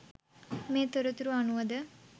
මේ තොරතුරු අනුවද